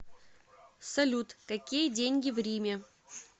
салют какие деньги в риме